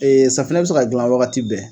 Ee Sanfinɛ be se ka gilan wagati bɛɛ